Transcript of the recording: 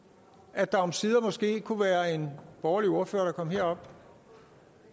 at der omsider måske kunne være en borgerlig ordfører der kom herop